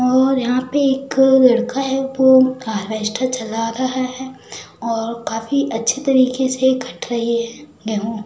और यहां पे एक लड़का है वो हार्वेस्टर चला रहा है और काफी अच्छी तरीके से कट रही है गेहूं।